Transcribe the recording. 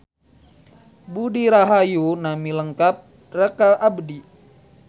Budi Rahayu nami lengkep raka abdi